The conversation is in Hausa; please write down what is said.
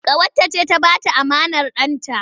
Ƙawarta ce ta ba ta amanar ɗanta.